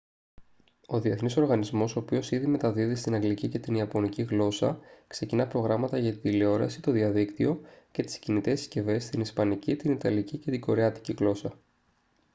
ο διεθνής οργανισμός ο οποίος ήδη μεταδίδει στην αγγλική και την ιαπωνική γλώσσα ξεκινά προγράμματα για την τηλεόραση το διαδίκτυο και τις κινητές συσκευές στην ισπανική την ιταλική και την κορεάτικη γλώσσα